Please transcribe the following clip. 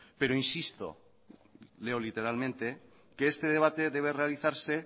pero insisto leo literalmente que este debate debe realizarse